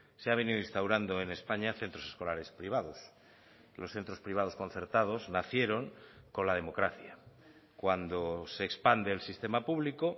se ha venido instaurando en españa centros escolares privados los centros privados concertados nacieron con la democracia cuando se expande el sistema público